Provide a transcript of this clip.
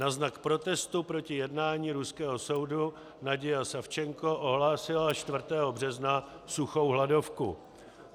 Na znak protestu proti jednání ruského soudu Nadija Savchenko ohlásila 4. března suchou hladovku.